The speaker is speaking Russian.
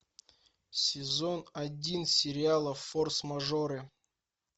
сезон один сериала форс мажоры